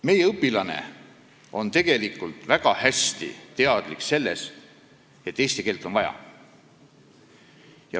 Meie õpilane on tegelikult väga hästi teadlik sellest, et eesti keelt on vaja.